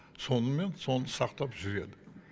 сонымен соны сақтап жүреді